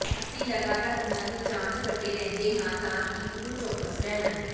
ਅਸੀਂ ਲਗਾਤਾਰ ਉਨ੍ਹਾਂ ਦੀ ਜਾਂਚ ਕਰਦੇ ਰਹਿੰਦੇ ਹਾਂ ਤਾਂ ਕਿ ਉਹ ਚੌਕਸ ਰਹਿਣ